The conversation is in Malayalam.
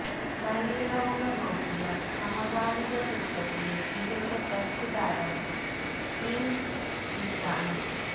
കളിയളവുകള് നോക്കിയാല് സമകാലിക ക്രിക്കറ്റിലെ മികച്ച ടെസ്റ്റ് താരം സ്റ്റീവ് സ്മിത്താണ്